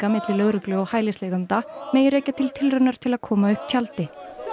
milli lögreglu og hælisleitenda megi rekja til tilraunar til að koma upp tjaldi